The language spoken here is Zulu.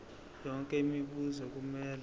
yonke imibuzo kumele